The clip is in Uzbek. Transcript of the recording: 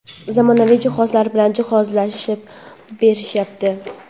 zamonaviy jihozlar bilan jihozlab berishyapti.